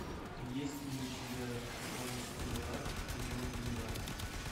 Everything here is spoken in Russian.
есть ли у тебя шоу стрела эпизод двенадцать